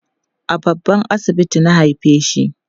a babban asibiti na haifeshi